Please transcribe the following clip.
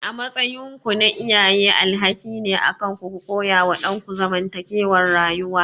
A matsayinku na iyaye alhakin ne akanku ku koyawa ɗanku zamantakewar rayuwa.